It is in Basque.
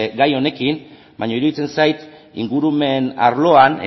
gai honekin baina iruditzen zait ingurumen arloan